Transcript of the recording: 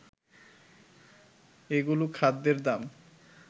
এগুলোও খাদ্যের দাম